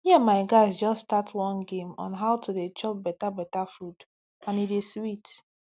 me and my guys just start one game on how to dey chop better better food and e dey sweet